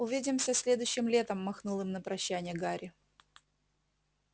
увидимся следующим летом махнул им на прощанье гарри